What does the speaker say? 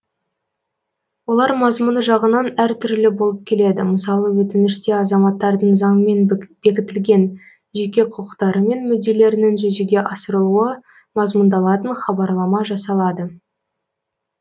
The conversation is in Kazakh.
олар мазмұны жағынан әртүрлі болып келеді мысалы өтініште азаматтардың заңмен бекітілген жеқе құқықтары мен мүдделерінің жүзеге асырылуы мазмұндалатын хабарлама жасалады